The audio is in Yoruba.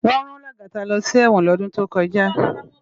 Wón rán Lagata lò si èwòn ni òdún tókòjá